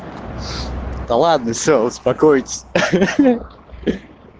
да ладно все успокойтесь ха-ха